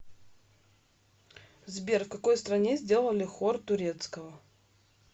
сбер в какой стране сделали хор турецкого